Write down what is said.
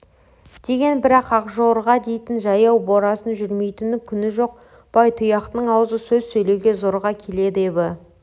деген бірақ ақжорға дейтін жаяу борасын жүрмейтін күні жоқ байтұяқтың аузы сөз сөйлеуге зорға келеді ебі